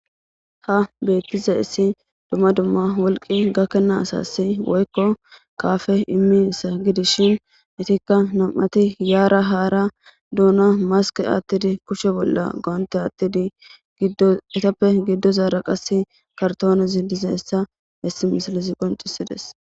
Ha beettiza issi dumma dumma wolqi gakkena asasi woykko kaafe immi ssa gidishin itikka nam'ati yaara haara duuna maske attidi kushe bolla goonte aattidi giddo etappe giddo zaara qas kartoonez dizeessa hessi misilisi qoncisides.